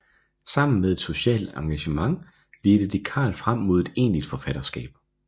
Sammen med et socialt engagement ledte det Carl frem mod et egentligt forfatterskab